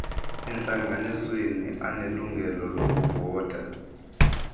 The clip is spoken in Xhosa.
entlanganisweni anelungelo lokuvota